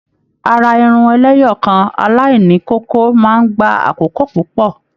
Àrà Irun ẹlẹ́yọọkan alaini kókó máa n gbà àkókò púpọ.